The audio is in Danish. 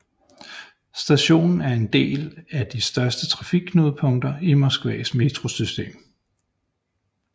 Stationen er en del et af de største trafikknudepunkter i Moskvas metrosystem